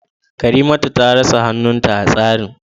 Karimatu ta rasa hannunta a hatsarin